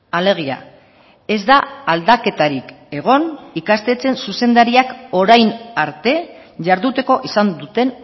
alegia ez da aldaketarik egon ikastetxeen zuzendariak orain arte jarduteko izan duten